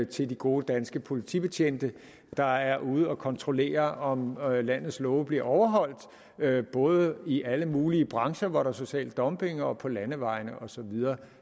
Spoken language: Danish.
til de gode danske politibetjente der er ude at kontrollere om landets love bliver overholdt både i alle mulige brancher hvor der er social dumping og på landevejene og så videre